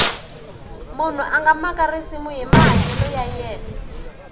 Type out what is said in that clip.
munhu a nga maka risimu hi mahanyelo ya yena